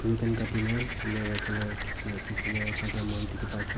ru khan kate kena ena rakhina la khechi khechina thakya dekhi pa ase aro--